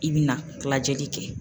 I bi na lajɛli kɛ.